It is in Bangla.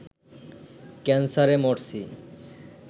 ক্যানসারে মরছি